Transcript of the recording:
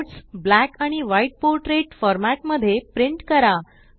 notes black आणि white portrait format मध्ये print करा